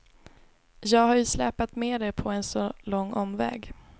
Jag har ju släpat med er på en så lång omväg.